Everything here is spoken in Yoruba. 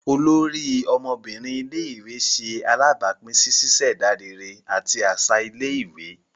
Olórí ọmọbinrin ilé-ìwé ṣe alabapin sí ṣiṣẹda réré àti aṣa ilé-ìwé